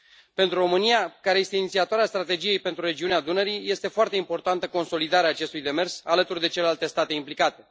Pentru România, care este inițiatoarea Strategiei pentru regiunea Dunării, este foarte importantă consolidarea acestui demers alături de celelalte state implicate.